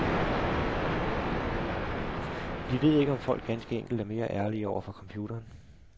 Vi ved ikke, om folk ganske enkelt er mere ærlige over for computeren.